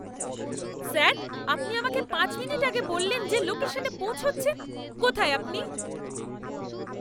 Sir, আপনি আমাকে পাঁচ মিনিট আগে বললেন যে লোকেশনে পৌঁছচ্ছেন। কোথায় আপনি?